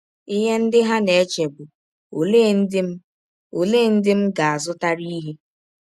Ihe ndị ha na - eche bụ: ‘ Ọlee ndị m Ọlee ndị m ga - azụtara ihe?